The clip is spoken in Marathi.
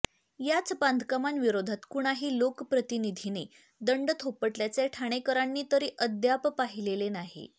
याच बांधकामांविरोधात कुणाही लोकप्रतिनिधीने दंड थोपटल्याचे ठाणेकरांनी तरी अद्याप पाहिलेले नाही